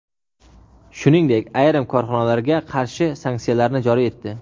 shuningdek ayrim korxonalarga qarshi sanksiyalarni joriy etdi.